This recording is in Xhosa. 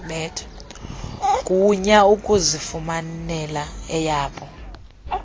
gunya ukuzifumanela eyabo